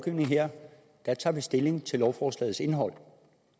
her tager vi stilling til lovforslagets indhold